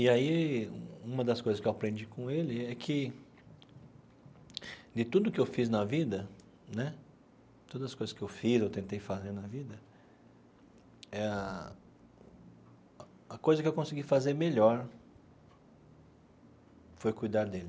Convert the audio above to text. E aí, uma das coisas que eu aprendi com ele é que de tudo que eu fiz na vida né, todas as coisas que eu fiz ou tentei fazer na vida, ah a a coisa que eu consegui fazer melhor foi cuidar dele.